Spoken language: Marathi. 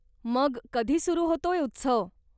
मग कधी सुरु होतोय उत्सव?